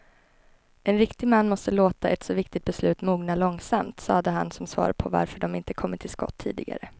En riktig man måste låta ett så viktigt beslut mogna långsamt, sade han som svar på varför de inte kommit till skott tidigare.